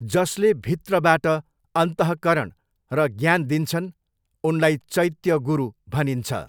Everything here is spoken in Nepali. जसले भित्रबाट अन्तःकरण र ज्ञान दिन्छन् उनलाई चैत्य गुरु भनिन्छ।